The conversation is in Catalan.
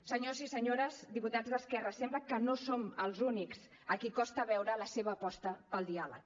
senyors i senyores diputats d’esquerra sembla que no som els únics a qui costa veure la seva aposta pel diàleg